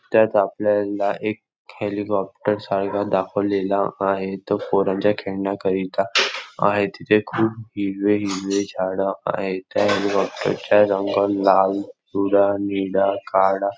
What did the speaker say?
त्यात आपल्याला एक हेलिकॉप्टर सारखा दाखवलेला आहे तो पोरांच्या खेळण्याकरिता आहे तिथे खूप हिरवे हिरवे झाड आहे त्या हेलिकॉप्टरचा रंग लाल पिवळा निळा काळा --